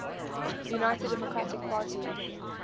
united democratic party